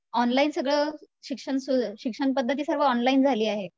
online सगळं, शिक्षण सुरू शिक्षण पध्दती सगळी ऑनलाईन झाली आहे